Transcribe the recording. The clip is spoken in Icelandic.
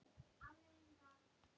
Þar hefurðu svarið.